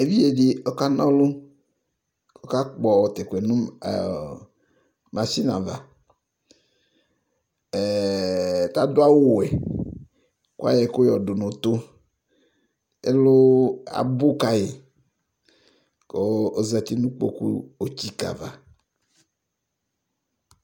Eviɖze ɖɩ ɔƙa na ɔlʋ, ɔƙaƙpɔ tʋ ɛƙʋ ƴɛ nʋ masini avaTa ɖʋ awʋ wɛ, ƙʋ aƴɔ ɛƙʋ ƴɔ ɖʋ nʋ ʋtʋƐlʋ abʋ ƙaƴɩ ƙʋ ozati nʋ ƙƥo otsiƙǝ ava